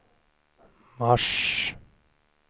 mars